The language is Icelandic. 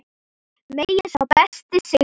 Megi sá besti sigra.